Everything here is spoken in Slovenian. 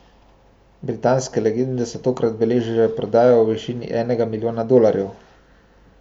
Britanske legende so takrat beležile prodajo v višini enega milijona dolarjev.